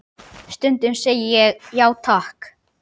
Stundum segi ég: já, takk.